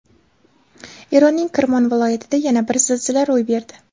Eronning Kirmon viloyatida yana bir zilzila ro‘y berdi.